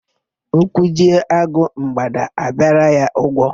Ụkwụ jie agụ, mgbada abịara ya ụgwọ.